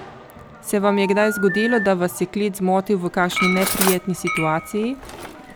Se vam je kdaj zgodilo, da vas je klic zmotil v kakšni neprijetni situaciji?